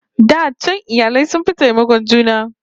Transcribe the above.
Da can iyali sun fi taimakon juna